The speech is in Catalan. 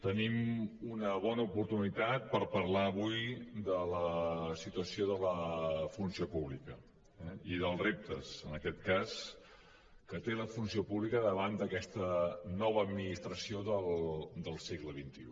tenim una bona oportunitat per parlar avui de la situació de la funció pública eh i dels reptes en aquest cas que té la funció pública davant d’aquesta nova administració del segle xxi